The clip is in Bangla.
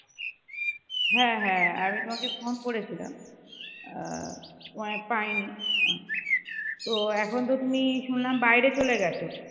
হ্যাঁ হ্যাঁ আমি তোমাকে ফোন করেছিলাম আহ তোমায় পাইনি তো এখন তো তুমি শুনলাম বাইরে চলে গেছো